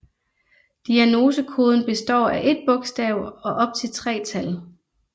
Diagnosekoden består af ét bogstav og op til tre tal